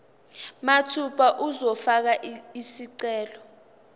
mathupha uzofaka isicelo